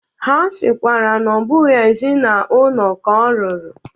Ha sịkwara na ọ bụghị ezi na ụlọ ka o ruru.